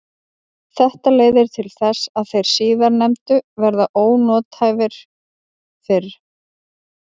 Þetta leiðir til þess að þeir síðarnefndu verða ónothæfir fyrr.